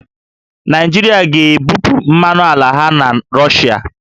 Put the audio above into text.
Naịjirịa ga-ebupụ mmanụ ala ha na Rọshịa